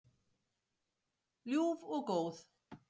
Ljúf og góð.